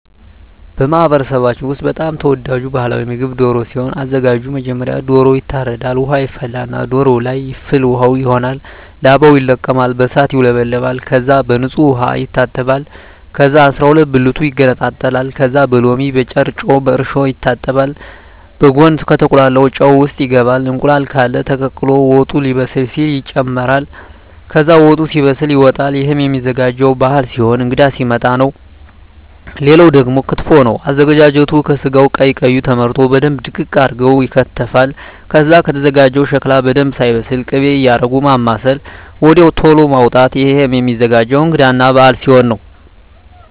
በማህበረሰባችን ውስጥ በጣም ተወዳጅ ባህላዊ ምግብ ደሮ ሲሆን አዘጋጁ መጀመሪያ ዶሮዎ ይታረዳል ውሃ ይፈላና ዶሮዎ ለይ ፍል ውሃው ይሆናል ላባው ይለቀማል በእሳት ይውለበለባል ከዛ በንጹህ ዉሃ ይታጠባል ከዛ አስራሁለት ብልቱ ይገነጣጠላል ከዛ በሎሚ በጭረጮ በእርሾ ይታጠባል በጉን ከተቁላላው ጨው ውሰጥ ይገባል እንቁላል ቃለ ተቀቅሎ ወጡ ሌበስል ሲል ይጨምራል ከዛ ወጡ ሲበስል ይወጣል እሄም ሚዘጋጀው ባህል ሲሆን እንግዳ ሲመጣ ነው ሌላው ደግሞ ክትፎ ነው አዘገጃጀቱ ከስጋው ቀይ ቀዩ ተመርጠው በደንብ ድቅቅ አርገው ይከተፋል ከዛ ከተዘጋጀው ሸክላ በደንብ ሳይበስል ክቤ እያረጉ ማማሰል ወድያው ተሎ ማዉጣት እሄም ሚዘገጀው እንግዳ እና በአል ሲሆን ነው